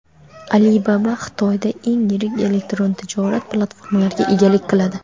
Alibaba Xitoyda eng yirik elektron tijorat platformalariga egalik qiladi.